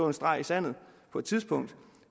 en streg i sandet på et tidspunkt